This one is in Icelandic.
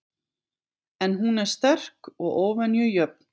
En hún er sterk og óvenju jöfn.